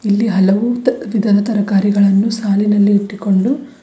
ಇಲ್ಲಿ ಹಲವು ತ ತದ್ ತರಕಾರಿಗಳನ್ನು ಸಾಲಿನಲ್ಲಿ ಇಟ್ಟುಕೊಂಡು--